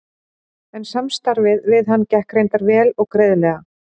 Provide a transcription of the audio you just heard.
En samstarfið við hann gekk reyndar vel og greiðlega.